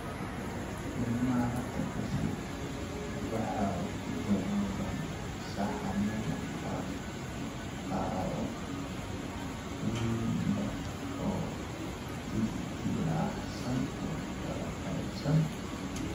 Ilmaha hadda dhashay waxa ku daboolan saxanno maqaar qaro weyn leh oo dildillaacsan oo kala qaybsan.